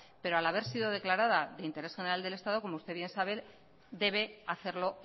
pero al haber sido declarada de interés general del estado como usted bien sabe debe hacerlo